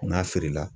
N'a feere la